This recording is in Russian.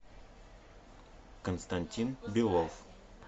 константин белов